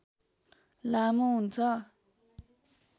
लामो हुन्छ